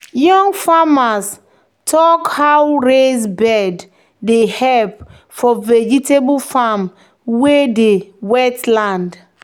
"young farmers talk how raised bed dey help for vegetable farm wey dey wetland."